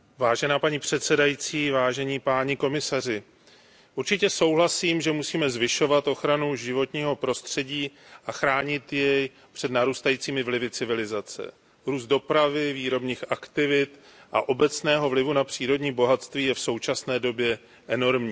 Paní předsedající, určitě souhlasím, že musíme zvyšovat ochranu životního prostředí a chránit je před narůstajícími vlivy civilizace růst dopravy, výrobní aktivity a obecného vlivu na přírodní bohatství je v současné době enormní.